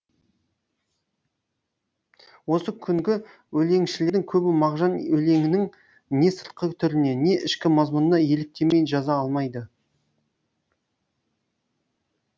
осы күнгі өлеңшілердің көбі мағжан өлеңінің не сыртқы түріне не ішкі мазмұнына еліктемей жаза алмайды